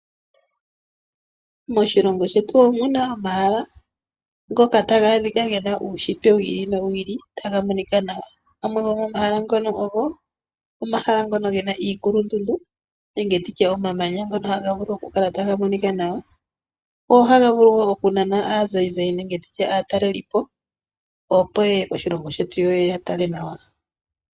Moshilongo shetu omu na omahala ngoka taga adhika ge na uunshitwe wi ili nowi ili taga monika nawa. Gamwe gomomahala ngono ogo omahala ngono ge na iikulundundu nenge omamanya ngono taga vulu okukala taga monika nawa go ohaga vulu wo okunana aazayizayi nenge aatalelipo, opo ye ye moshilongo shetu ye ye ya tale nawa.